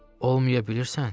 Olmaya bilirsən?